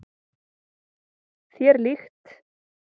Þér líkt.